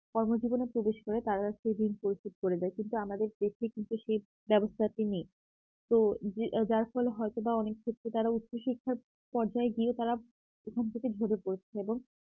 কর্মজীবনে প্রবেশ করে তারা শিরিন পরিশোধ করে যায় কিন্তু আমাদের দেশে কিন্তু সেই ব্যবস্থাটি নেই তো যার ফলে হয়তোবা অনেক ক্ষেত্রে তারা উচ্চ শিক্ষার পর্যায়ে গিয়ে তারা ওখান থেকে ঝরে পড়ছে এবং